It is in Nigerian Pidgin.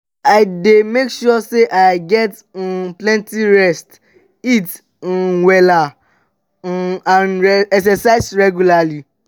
i dey make sure say i get um plenty rest eat um wella um and exercise regularly.